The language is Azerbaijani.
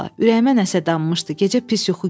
Ürəyimə nəsə dammışdı, gecə pis yuxu görmüşdüm.